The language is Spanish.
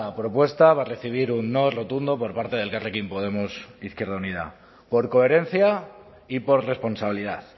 propuesta va a recibir un no rotundo por parte de elkarrekin podemos izquierda unida por coherencia y por responsabilidad